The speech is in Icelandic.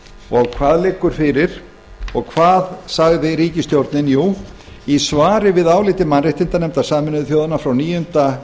og hvað liggur fyrir og hvað sagði ríkisstjórnin jú í svari við áliti mannréttindanefndar sameinuðu þjóðanna frá níunda